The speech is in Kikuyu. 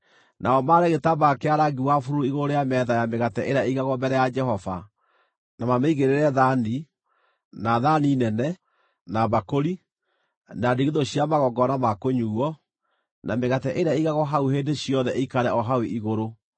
“Nao maare gĩtambaya kĩa rangi wa bururu igũrũ rĩa metha ya mĩgate ĩrĩa ĩigagwo mbere ya Jehova, na mamĩigĩrĩre thaani, na thaani, nene na mbakũri, na ndigithũ cia magongona ma kũnyuuo; na mĩgate ĩrĩa ĩigagwo hau hĩndĩ ciothe ĩikare o hau igũrũ.